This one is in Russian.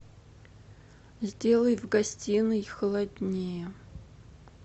сделай в гостиной холоднее